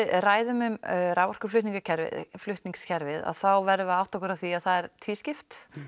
ræðum raforkuflutningskerfið þá verðum við að átta okkur á því að það er tvískipt